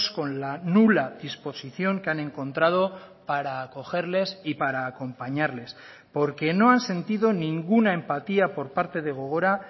con la nula disposición que han encontrado para acogerles y para acompañarles porque no han sentido ninguna empatía por parte de gogora